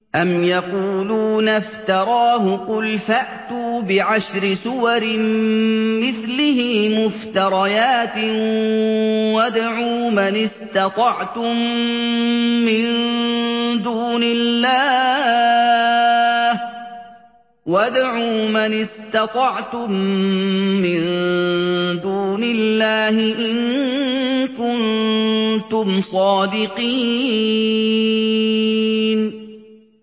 أَمْ يَقُولُونَ افْتَرَاهُ ۖ قُلْ فَأْتُوا بِعَشْرِ سُوَرٍ مِّثْلِهِ مُفْتَرَيَاتٍ وَادْعُوا مَنِ اسْتَطَعْتُم مِّن دُونِ اللَّهِ إِن كُنتُمْ صَادِقِينَ